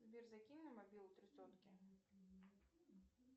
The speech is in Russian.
сбер закинь на мобилу три сотки